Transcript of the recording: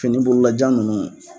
Fini bololajan nunnu.